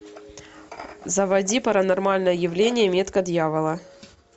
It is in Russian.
заводи паранормальное явление метка дьявола